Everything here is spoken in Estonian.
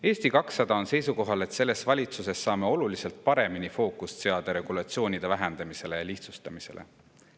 Eesti 200 on seisukohal, et selles valitsuses saame oluliselt paremini fookust seada regulatsioonide vähendamisele ja lihtsustamisele.